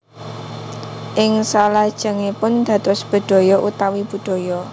Ing salajengipun dados bedhaya utawi budaya